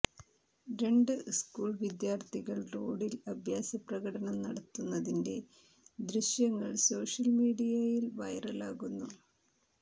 രണ്ട് സ്കൂൾ വിദ്യാർത്ഥികൾ റോഡിൽ അഭ്യാസപ്രകടനം നടത്തുന്നതിന്റെ ദൃശ്യങ്ങൾ സോഷ്യൽമീഡിയയിൽ വൈറലാകുന്നു